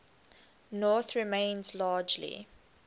north remains largely